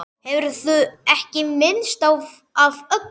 Hefurðu ekki minnst af öllum?